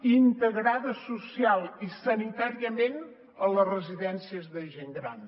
i integrada socialment i sanitàriament a les residències de gent gran